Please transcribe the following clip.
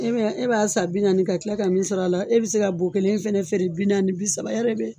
E bɛ na, e b'a san bi naani ka kila ka min sɔrɔ a la e bɛ se ka bɔ kelen fana feere bi naani, bi saba